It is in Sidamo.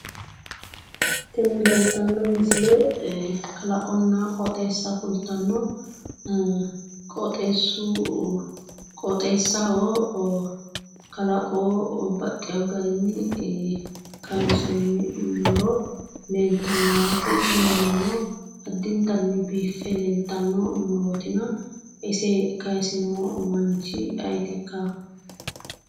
Tini leelitanno misile kalaqonna qooxeessa kulittano qooxeessu qooxessaho kalaqo baxxewo garinni kayinisoy muro leelittanno yaate tini murono addinittanni biife leelitanno murootina ise kayisino manichi aayetikka?